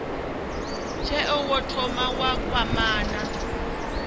tsheo wo thoma wa kwamana